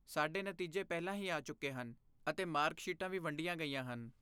ਸਾਡੇ ਨਤੀਜੇ ਪਹਿਲਾਂ ਹੀ ਆ ਚੁੱਕੇ ਹਨ, ਅਤੇ ਮਾਰਕ ਸ਼ੀਟਾਂ ਵੀ ਵੰਡੀਆਂ ਗਈਆਂ ਹਨ।